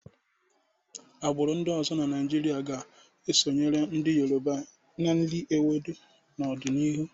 Agbụrụ ndị ọzọ na Naịjirịa ga-esonyere ndị Yoruba n'iri ewedu n'ọdịnihu.